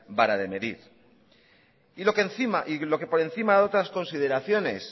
vara de medir y lo que por encima de otras consideraciones